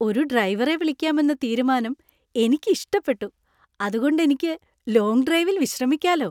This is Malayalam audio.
ഒരു ഡ്രൈവറെ വിളിക്കാമെന്ന തീരുമാനം എനിക്ക് ഇഷ്ടപ്പെട്ടു, അതുകൊണ്ട് എനിക്ക് ലോങ് ഡ്രൈവിൽ വിശ്രമിക്കാലോ.